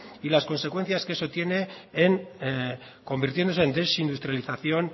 y las consecuencias que eso tiene en convirtiéndose en desindustrialización